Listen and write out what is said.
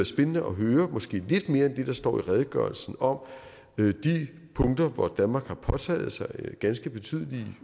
spændende at høre måske lidt mere end det der står i redegørelsen om de punkter hvor danmark har påtaget sig ganske betydelige